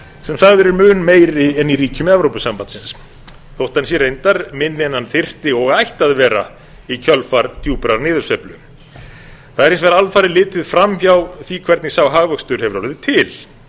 sem sagður er mun meiri en í ríkjum evrópusambandsins þó hann sé reyndar minni en hann þyrfti og ætti að vera í kjölfar djúprar niðursveiflu það er hins vegar alfarið litið framhjá því hvernig sá hagvöxtur hefur orðið til